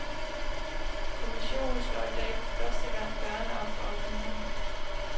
Kommissionen slår i dag for første gang dørene op for offentligheden.